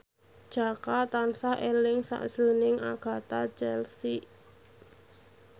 Jaka tansah eling sakjroning Agatha Chelsea